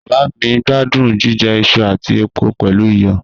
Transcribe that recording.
Baba mi gbadun jijẹ iṣu ati epo pẹlu iyọ